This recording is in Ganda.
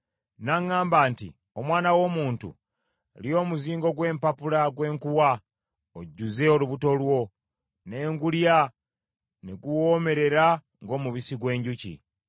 N’aŋŋamba nti, “Omwana w’omuntu, lya omuzingo gw’empapula gwe nkuwa, ojjuze olubuto lwo.” Ne ngulya, ne guwoomerera ng’omubisi gw’enjuki.